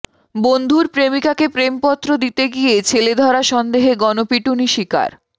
বন্ধুর প্রেমিকাকে প্রেমপত্র দিতে গিয়ে ছেলেধরা সন্দেহে গণপিটুনি শিকার